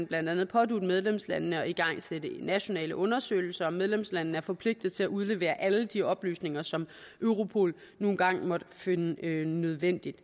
blandt andet pådutte medlemslandene at igangsætte nationale undersøgelser og medlemslandene er forpligtet til at udlevere alle de oplysninger som europol nu engang måtte finde nødvendige